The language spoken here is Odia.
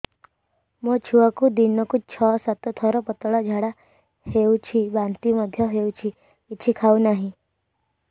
ମୋ ଛୁଆକୁ ଦିନକୁ ଛ ସାତ ଥର ପତଳା ଝାଡ଼ା ହେଉଛି ବାନ୍ତି ମଧ୍ୟ ହେଉଛି କିଛି ଖାଉ ନାହିଁ